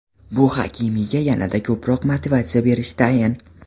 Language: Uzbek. Bu Hakimiga yanada ko‘proq motivatsiya berishi tayin.